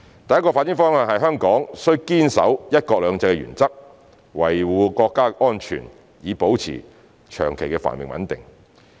第一個發展方向是香港須堅守"一國兩制"原則，維護國家安全，以保持長期繁榮穩定。